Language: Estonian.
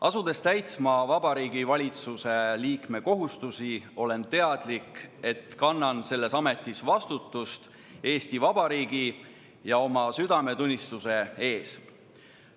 Asudes täitma Vabariigi Valitsuse liikme kohustusi, olen teadlik, et kannan selles ametis vastutust Eesti Vabariigi ja oma südametunnistuse ees.